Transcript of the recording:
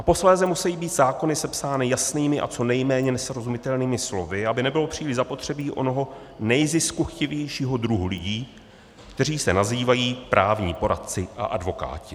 A posléze musejí být zákony sepsány jasnými a co nejméně nesrozumitelnými slovy, aby nebylo příliš zapotřebí onoho nejziskuchtivějšího druhu lidí, kteří se nazývají právní poradci a advokáti.